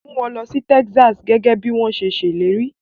Mú wọn lọ sí Texas gẹ́gẹ́ bí wọ́n ṣe ṣèlérí.